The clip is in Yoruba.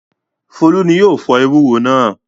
Folú ni yóò fọ ewúro náà.